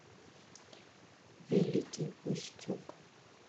великий устюг